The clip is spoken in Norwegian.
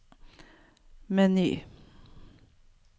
meny